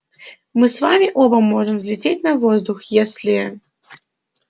мы с вами оба можем взлететь на воздух если